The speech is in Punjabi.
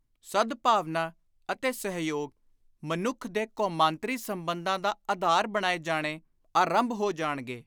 ਸਦਭਾਵਨਾ ਅਤੇ ਸਹਿਯੋਗ ਮਨੁੱਖ ਦੇ ਕੌਮਾਂਤ੍ਰੀ ਸੰਬੰਧਾਂ ਦਾ ਆਧਾਰ ਬਣਾਏ ਜਾਣੇ ਆਰੰਭ ਹੋ ਜਾਣਗੇ।